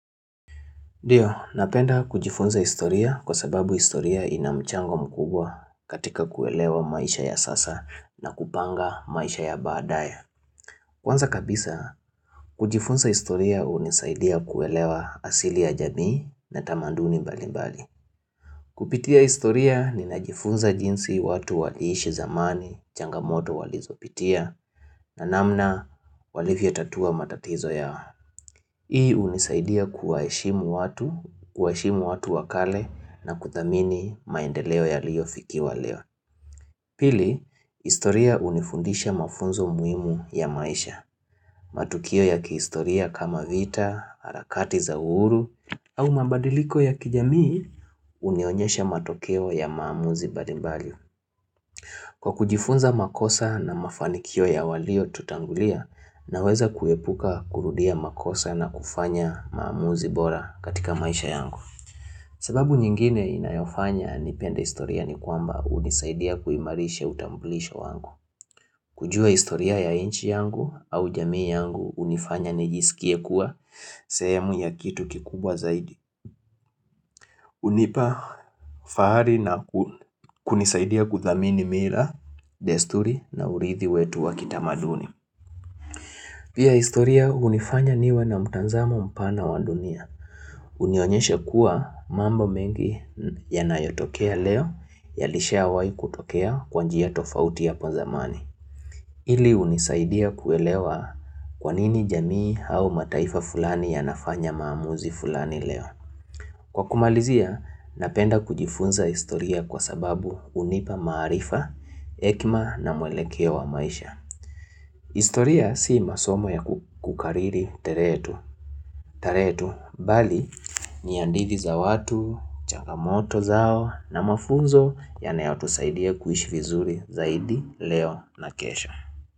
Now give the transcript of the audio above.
Ndiyo, napenda kujifunza historia kwa sababu historia ina mchango mkubwa katika kuelewa maisha ya sasa na kupanga maisha ya baadaye. Kwanza kabisa, kujifunza historia hunisaidia kuelewa asili ya jamii na tamaduni mbali mbali. Kupitia historia ninajifunza jinsi watu waliishi zamani, changamoto walizo pitia, na namna walivyo tatua matatizo yao. Hii hunisaidia kuwaheshimu watu, kuwaheshimu watu wa kale na kuthamini maendeleo yaliyo fikiwa leo. Pili, historia hunifundisha mafunzo muhimu ya maisha. Matukio ya kihistoria kama vita, harakati za uhuru, au mabadiliko ya kijamii, unionyesha matokeo ya maamuzi mbalimbali. Kwa kujifunza makosa na mafanikio ya walio tutangulia na weza kuepuka kurudia makosa na kufanya maamuzi bora katika maisha yangu. Sababu nyingine inayofanya nipenda historia ni kwamba hunisaidia kuimarisha utambulisho wangu. Kujua historia ya inchi yangu au jamii yangu hunifanya nijisikie kuwa sehemu ya kitu kikubwa zaidi. Hunipa fahari na kunisaidia kuthamini mila, desturi na urithi wetu wa kitamaduni. Pia historia hunifanya niwe na mtanzamo mpana wa dunia. Hunionyesha kuwa mambo mengi yanayotokea leo, yalishawai kutokea kwa njia tofauti hapo zamani. Hili hunisaidia kuelewa kwa nini jamii au mataifa fulani yanafanya maamuzi fulani leo. Kwa kumalizia, napenda kujifunza historia kwa sababu hunipa maarifa, hekima na mwelekeo wa maisha. Historia si masomo ya kukariri terehe tu, teretu, bali ni hadhiti za watu, changamoto zao na mafunzo yanayo tusaidia kuishi vizuri zaidi leo na kesho.